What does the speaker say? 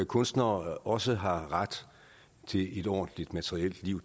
kunstnere også har ret til et ordentligt materielt liv